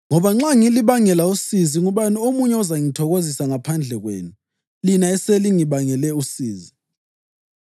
Ngoba nxa ngilibangela usizi, ngubani omunye ozangithokozisa ngaphandle kwenu lina esengilibangele usizi?